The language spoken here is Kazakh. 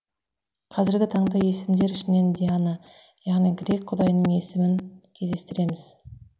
қазіргі таңда есімдер ішінен диана яғни грек құдайының есімін кездестіреміз